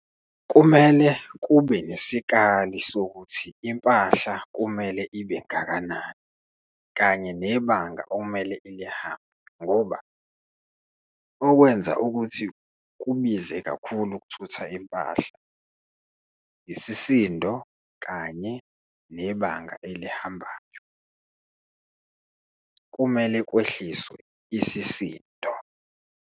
Kumele kube nesikali sokuthi impahla kumele ibe ngakanani kanye nebanga okumele ilihamba, ngoba okwenza ukuthi kubize kakhulu ukuthutha impahla, isisindo kanye nebanga elihambayo. Kumele kwehliswe isisindo.